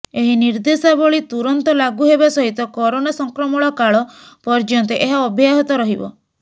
ଏହି ନିର୍ଦ୍ଦେଶାବଳୀ ତୁରନ୍ତ ଲାଗୁ ହେବା ସହିତ କରୋନା ସଂକ୍ରମଣ କାଳ ପର୍ୟ୍ୟନ୍ତ ଏହା ଅବ୍ୟାହତ ରହିବ